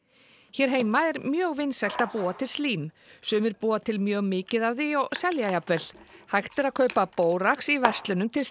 hér heima er mjög vinsælt að búa til slím sumir búa til mjög mikið af því og selja jafnvel hægt er að kaupa bórax í verslunum til